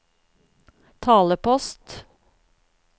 talepost